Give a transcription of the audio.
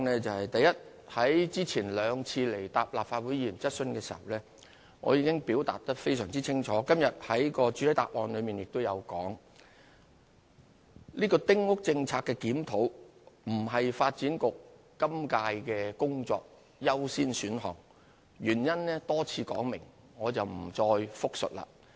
第一，在之前兩次前來立法會回答議員的質詢時，我已經清楚表明，而今天亦在主體答覆中指出，丁屋政策的檢討並不是發展局今屆工作的優先選項，原因已多次說明，我不再複述。